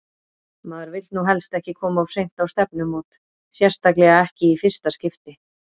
Maður vill nú helst ekki koma of seint á stefnumót, sérstaklega ekki í fyrsta skipti!